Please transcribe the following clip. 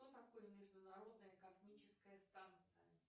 что такое международная космическая станция